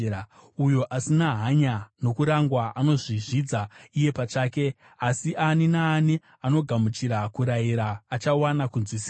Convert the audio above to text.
Uyo asina hanya nokurangwa anozvizvidza iye pachake, asi ani naani anogamuchira kurayira achawana kunzwisisa.